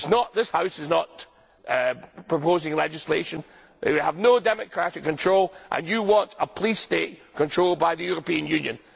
This House is not proposing legislation. You have no democratic control and you want a police state controlled by the European Union.